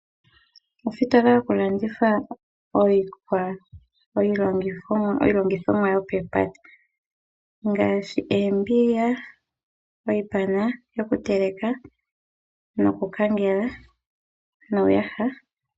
Ositola yokulanditha iilongithomwa yopelugo. Ngaashi oombiga, iipana yoku teleka noku kangela, niiyaha.